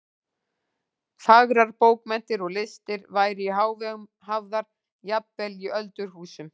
Fagrar bókmenntir og listir væru í hávegum hafðar jafnvel í öldurhúsum.